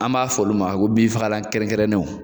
An b'a fɔ olu ma ko binfagalan kɛrɛnkɛrɛnnenw